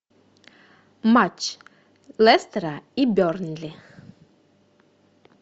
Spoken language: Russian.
матч лестера и бернли